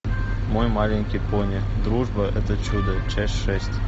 мой маленький пони дружба это чудо часть шесть